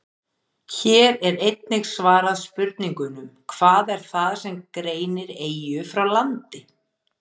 Hér er einnig svarað spurningunum: Hvað er það sem greinir eyju frá landi?